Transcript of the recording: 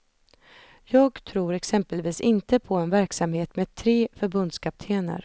Jag tror exempelvis inte på en verksamhet med tre förbundskaptener.